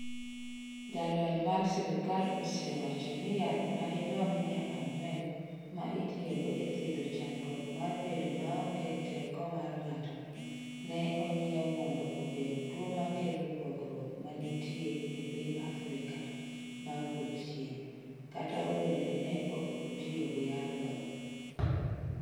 Jalony mar sirkalno osewacho ni yath madirom mia ang'wen ma itiyogo e thiedho chandruok mar bedo maonge teko mar ng’ato, ne onyiew mondo ogeng’ tuo ma kelo pogruok ma nitie e piny Afrika ma Wuokchieng’, kata obedo ni ne ok otiyo gi yathgo.